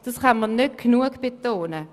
Das kann man nicht genügend betonen.